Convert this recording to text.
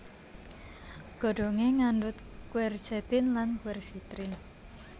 Godhongé ngandhut quercetin lan quercitrin